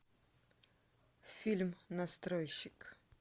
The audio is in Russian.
фильм настройщик